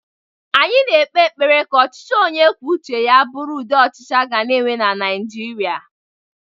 Anyi na-ekpe ekpere ka ọchichị ọnye kwuọ ụche ya bụrụ ụdi ọchichi aga-na enwe Naijịria.